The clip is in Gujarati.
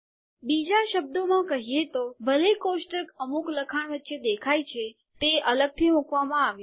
બીજા શબ્દોમાં કહીએ તો ભલે કોષ્ટક અમુક લખાણ વચ્ચે દેખાય છે તે અલગથી મૂકવામાં આવ્યો છે